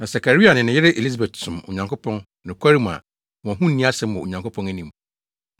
Na Sakaria ne ne yere Elisabet som Onyankopɔn nokware mu a wɔn ho nni asɛm wɔ Onyankopɔn anim.